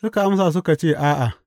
Suka amsa suka ce, A’a.